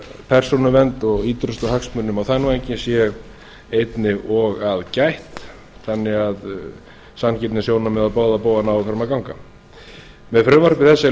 persónuvernd og ýtrustu hagsmunum og þar að auki sé þess einnig að gætt þannig að sanngirnissjónarmið á báða bóga nái fram að ganga með frumvarpi þessu er